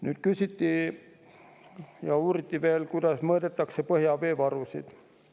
Nüüd, küsiti, kuidas mõõdetakse põhjaveevarusid.